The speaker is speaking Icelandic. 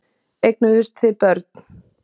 Eignuðust þið börn?